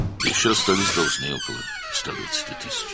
Üstəlik, təxminən 120.000 borcumuz qalıb."